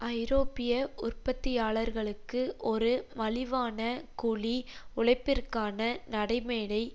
ஐரோப்பிய உற்பத்தியாளர்களுக்கு ஒரு மலிவான கூலி உழைப்பிற்கான நடைமேடை